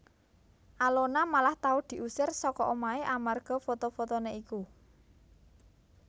Alona malah tau diusir saka omah amarga foto fotoné iku